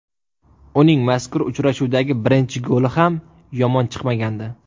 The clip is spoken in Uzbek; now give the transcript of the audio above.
Uning mazkur uchrashuvdagi birinchi goli ham yomon chiqmagandi.